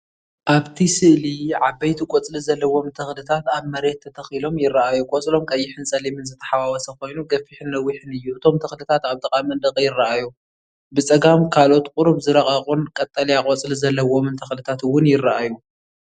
ኣብቲ ስእሊ ዓበይቲ ቆጽሊ ዘለዎም ተኽልታት ኣብ መሬት ተተኺሎም ይረኣዩ። ቆጽሎም ቀይሕን ጸሊምን ዝተሓዋወሰ ኮይኑ፡ ገፊሕን ነዊሕን እዩ። እቶም ተኽልታት ኣብ ጥቓ መንደቕ ይረኣዩ። ብጸጋም ካልኦት ቁሩብ ዝረቐቑን ቀጠልያ ቆጽሊ ዘለዎምን ተኽልታት እውን ይረኣዩ።